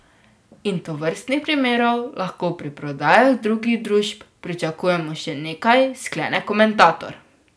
In tovrstnih primerov lahko pri prodajah drugih družb pričakujemo še nekaj, sklene komentator.